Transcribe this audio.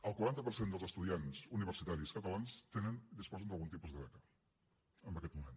el quaranta per cent dels estudiants universitaris catalans tenen disposen d’algun tipus de beca en aquest moment